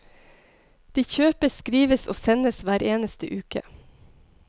De kjøpes, skrives og sendes hver eneste uke.